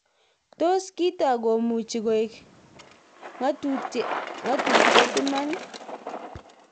Tos kiotok komuchi koek ngatutirt iman?